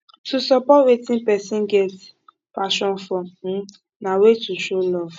to support wetin persin get passion for um na way to show love